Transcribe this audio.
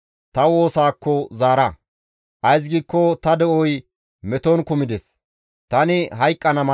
Tani duufon geliza asatara qoodettadis; wolqqay baynda as gidadis.